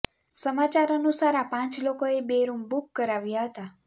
સમાચાર અનુસાર આપાંચ લોકોએ બે રૂમ બુક કરાવ્યા હતા